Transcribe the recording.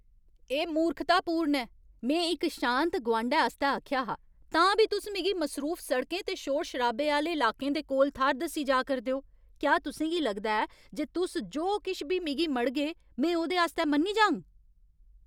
एह् मूर्खतापूर्ण ऐ। में इक शांत गुआंढै आस्तै आखेआ हा, तां बी तुस मिगी मसरूफ सड़कें ते शोर शराबे आह्‌ले लाकें दे कोल थाह्‌र दस्सी जा करदे ओ। क्या तुसें गी लगदा ऐ जे तुस जो किश बी मिगी मढ़गे , में ओह्दे आस्तै मन्नी जाङ?